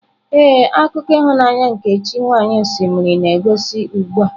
Ee, akụkọ ịhụnanya nke chi nwanyị osimiri na-egosipụta ugbu a.